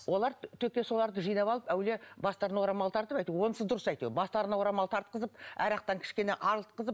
олар соларды жинап алып әуелі бастарына орамал тартып әйтеуір онысы дұрыс әйтеуір бастарына орамал тартқызып арақтан кішкене арылтқызып